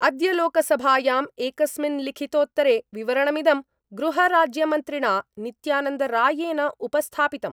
अद्य लोकसभायाम् एकस्मिन् लिखित्तोत्तरे विवरणमिदं गृहराज्यमन्त्रिणा नित्यानन्दरॉयेन उपस्थापितम्।